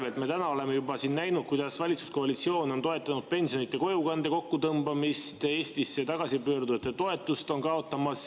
Me oleme täna siin juba näinud, kuidas valitsuskoalitsioon on toetanud pensionide kojukande kokkutõmbamist ja on kaotamas Eestisse tagasi pöördujate toetust.